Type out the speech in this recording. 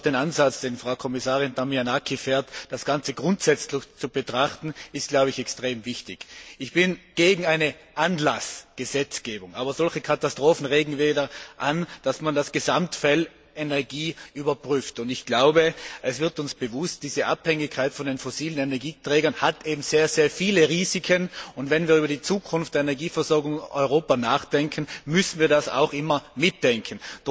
Aber auch der Ansatz, dem Frau Kommissarin Damanaki folgt, das Ganze grundsätzlich zu betrachten, ist, glaube ich, extrem wichtig. Ich bin gegen eine Anlassgesetzgebung. Aber solche Katastrophen regen wieder an, dass man das Gesamtfeld Energie überprüft. Ich glaube, es wird uns bewusst, dass diese Abhängigkeit von den fossilen Energieträgern eben sehr, sehr viele Risiken hat, und wenn wir über die Zukunft der Energieversorgung in Europa nachdenken, müssen wir das auch immer mitdenken.